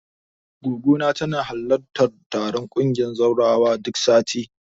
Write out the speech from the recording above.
Goggona tana halartar taron ƙungiyar zawarawan duk sati.